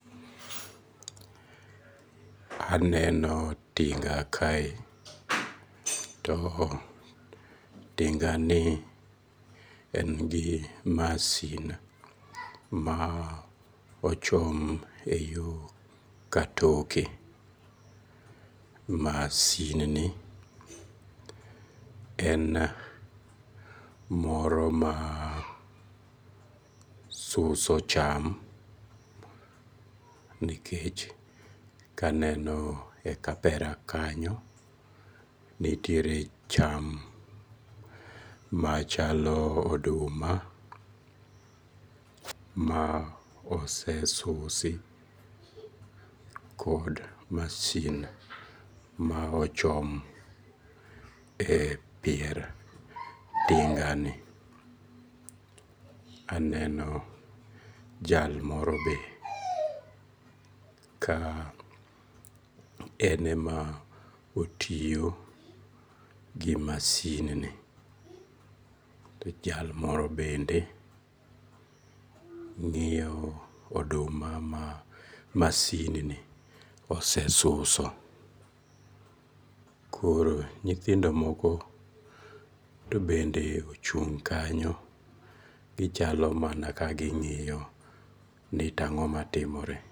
Aneno tinga kae to tingani en gi masin ma ochom e yo katoke, masin ni en moro ma suso cham nikech kaneno e kapera kanyo nitiere cham machalo oduma ma osesusi kod masin ma ochom e pier tingani, aneni jal morobe ka ene ma otiyo gi masin, jal moro bende ng'iyo oduma ma masinni osesuso, koro nyithindo moko to bende ochung kanyo gichalo mana ka ng'iyo ni to ang'oma timore